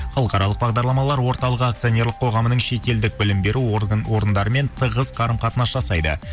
халықаралық бағдарламалар орталық акционерлік қоғамының шетелдік білім беру орындарымен тығыс қарым қатынас жасайды